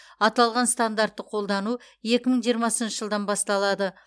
аталған стандартты қолдану екі мың жиырмасыншы жылдан басталады